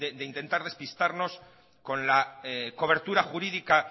de intentar despistarnos con la cobertura jurídica